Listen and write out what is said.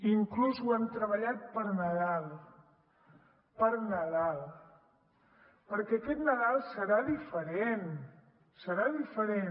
inclús ho hem treballat per nadal per nadal perquè aquest nadal serà diferent serà diferent